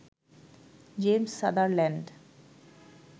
James Sutherland